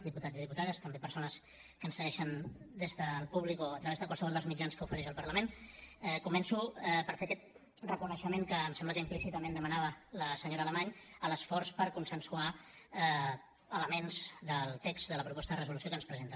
diputats i diputades també persones que ens segueixen des del públic o a través de qualsevol dels mitjans que ofereix el parlament començo per fer aquest reconeixement que em sembla que implícitament demanava la senyora alamany a l’esforç per consensuar elements del text de la proposta de resolució que ens presenten